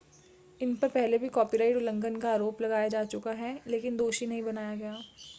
इन पर पहले भी कॉपीराइट उल्लंघन का आरोप लगाया जा चुका है लेकिन दोषी नहीं बनाया गया